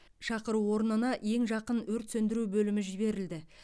шақыру орнына ең жақын өрт сөндіру бөлімі жіберілді